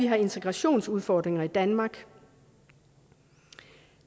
har integrationsudfordringer i danmark